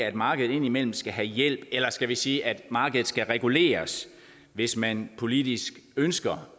at markedet indimellem skal have hjælp eller skal vi sige at markedet skal reguleres hvis man politisk ønsker